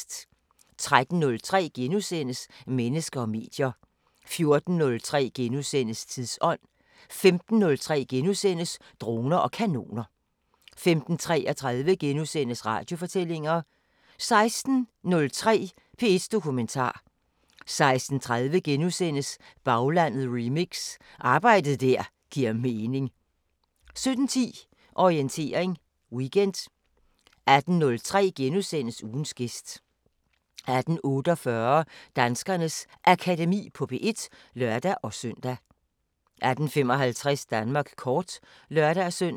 13:03: Mennesker og medier * 14:03: Tidsånd * 15:03: Droner og Kanoner * 15:33: Radiofortællinger * 16:03: P1 Dokumentar 16:30: Baglandet remix: Arbejde der giver mening * 17:10: Orientering Weekend 18:03: Ugens gæst * 18:48: Danskernes Akademi på P1 (lør-søn) 18:55: Danmark kort (lør-søn)